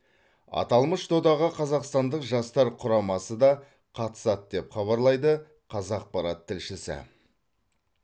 аталмыш додаға қазақстандық жастар құрамасы да қатысады деп хабарлайды қазақпарат тілшісі